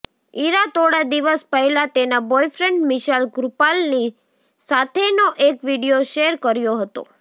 ઇરા તોડા દિવસ પહેલા તેના બોયફ્રેન્ડ મિશાલ કૃપલાની સાથેનો એક વિડીયો શેર કર્યો હતો